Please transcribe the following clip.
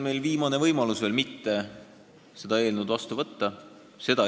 Meil on praegu võimalus jätta see eelnõu vastu võtmata.